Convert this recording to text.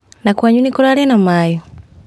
Na kwanyu nĩ kũrarĩ na maĩ?